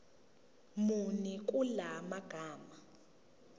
muni kula magama